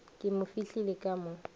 ke mo fihlile ka mo